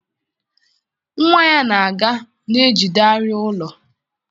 Nwa ya na-aga na-ejide arịa ụlọ.